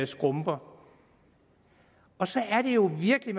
skrumper og så er det jo virkelig